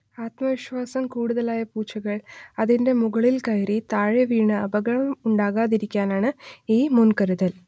ആത്മവിശ്വാസം കൂടുതലായ പൂച്ചകൾ അതിന്റെ മുകളിൽ കയറി താഴെവീണ് അപകടം ഉണ്ടാകാതിരിക്കാനാണ് ഈ മുൻകരുതൽ